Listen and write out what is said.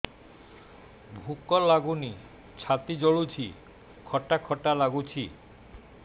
ଭୁକ ଲାଗୁନି ଛାତି ଜଳୁଛି ଖଟା ଖଟା ଲାଗୁଛି